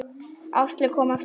Áslaug kom eftir hádegi.